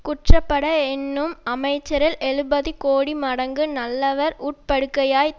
குற்றப்பட எண்ணும் அமைச்சரில் எழுபது கோடி மடங்கு நல்லர் உட்பகையாய்த்